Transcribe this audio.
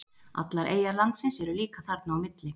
Allar eyjar landsins eru líka þarna á milli.